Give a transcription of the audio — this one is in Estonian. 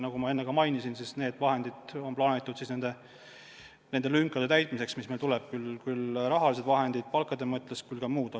Nagu ma enne mainisin, need vahendid on plaanitud nende lünkade täitmiseks, mis meil on, sealhulgas palkade tõstmiseks, aga ka muuks.